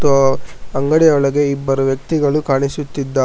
ಹಾಗೂ ಅಂಗಡಿ ಒಳಗೆ ಇಬ್ಬರು ವ್ಯಕ್ತಿಗಳು ಕಾಣಿಸುತ್ತಿದ್ದಾ--